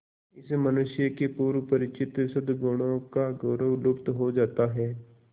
इस मनुष्य के पूर्व परिचित सदगुणों का गौरव लुप्त हो जाता है